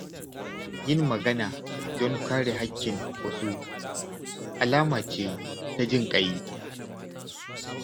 Yin magana don kare haƙƙin wasu alama ce ta jinƙai.